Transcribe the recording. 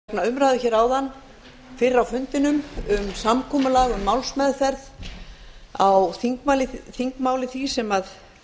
forseti vill geta þess vegna umræðu fyrr á fundinum um samkomulag um málsmeðferð á þingmáli því sem